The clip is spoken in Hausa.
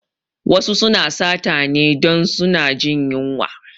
Wasu suna sata ne dun suna jin yunwa